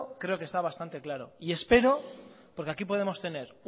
creo que está bastante claro y espero porque aquí podemos tener